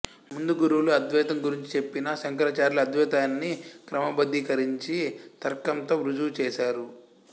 ముందు గురువులు అద్వైతం గురించి చెప్పినా శంకరాచార్యులు అద్వైతాన్ని క్రమబద్ధీకరించి తర్కంతో ఋజువు చేసారు